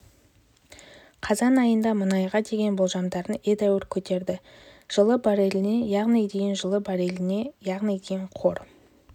қазан айында мұнайға деген болжамдарын едәуір көтерді жылы барреліне яғни дейін жылы барреліне яғни дейін қор